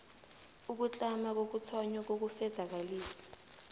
ukutlama kokuthonywa kokufezakalisa